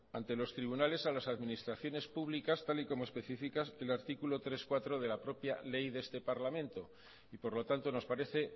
ante los tribunales a las administraciones públicas tal y como especifica el artículo tres punto cuatro de la propia ley de este parlamento y por lo tanto nos parece